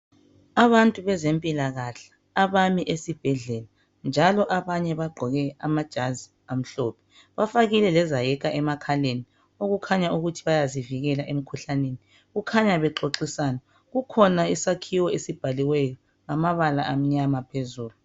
Abantu bezempilakahle abami esibhedlela njalo abanye bagqoke amajazi amhlophe bafakile lezayeka emakhaleni okukhanya ukuthi bayazivikela emkhuhlaneni. Kukhanya bexoxisana kukhona isakhiwo esibhaliweyo ngamabala amnyama phezulu.